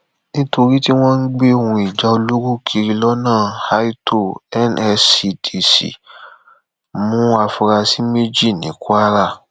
èsì ìdìbò gómìnà ọsẹ ẹgbẹ apc àti pdp ń léra wọn lérè